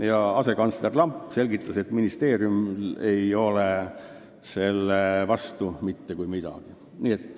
Ja asekantsler Lamp selgitas, et ministeeriumil ei ole selle vastu mitte kui midagi.